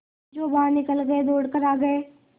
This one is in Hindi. जो बाहर निकल गये थे दौड़ कर आ गये